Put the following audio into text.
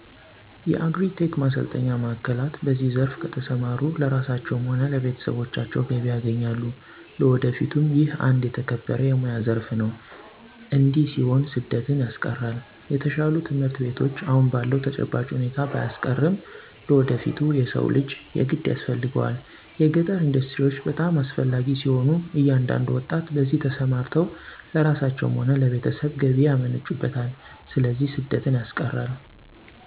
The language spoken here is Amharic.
የአግሪ-ቴክ ማሰልጠኛ ማዕከላት በዚህ ዘርፍ ከተሰማሩ ለራሳቸዉም ሆነ ለቤተሰቦቻቸው ገቢ ያገኛሉ ለወደፊቱም ይህ አንድ የተከበረ የሞያ ዘረፍ ነው እዲህ ሲሆን ስደትን ያስቀራል።፣ የተሻሉ ትምህርት ቤቶች አሁን ባለዉ ተጨባጭ ሁኔታ ባያስቀርም ለወደፊቱ የሰው ልጅ የግድ ያስፈልገዋል። የገጠር ኢንዱስትሪዎች በጣም አስፈላጊ ሲሆኑ እያንዳንዱ ወጣት በዚህ ተሰማርተው ለራሳቸው ሆነ ለቤተሰብ ገቢ ያመነጩበታል ስለዚህ ስደትን ያስቀራል።